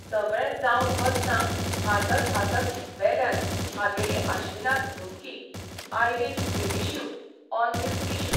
सगळें जावन वतना हांसत हांसत बेल्यान हागेली आश्विनाक धमकी I will finish you on this issue !